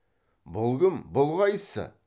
бұл кім бұл қайсысы